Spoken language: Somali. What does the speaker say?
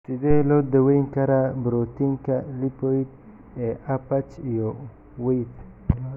Sidee loo daweyn karaa borotiinka lipoid ee Urbach iyo Wiethe?